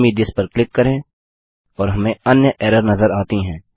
send me this पर click करें और हमें अन्य एरर नजर आती है